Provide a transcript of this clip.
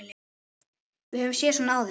Við höfum séð svona áður.